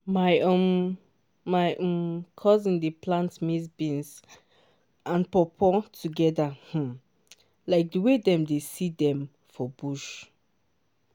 my um my um cousin dey plant maize beans and pawpaw together um like the way dem dey see dem for bush